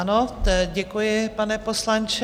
Ano, děkuji, pane poslanče.